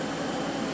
Yaxşı, yaxşı.